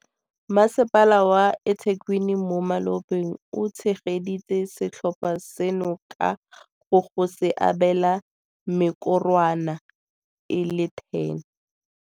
Masepala wa eThekwini mo malobeng o tshegeditse setlhopha seno ka go go se abela mekorwana e le 10.